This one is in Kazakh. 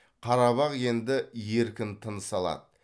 қарабақ енді еркін тыныс алады